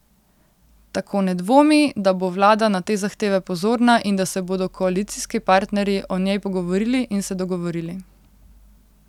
Tako ne dvomi, da bo vlada na te zahteve pozorna in da se bodo koalicijski partnerji o njej pogovorili in se dogovorili.